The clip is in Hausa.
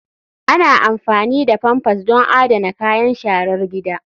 Ana amfani da pampers don adana kayan sharar gida.